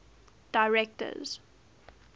directors